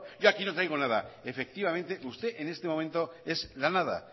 yo aquí no traigo nada efectivamente usted en este momento es la nada